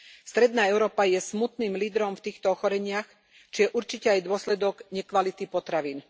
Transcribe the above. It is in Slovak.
Stredná Európa je smutným lídrom v týchto ochoreniach, čo je určite aj dôsledok nekvality potravín.